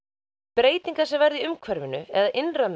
breytingar sem verða í umhverfinu eða innra með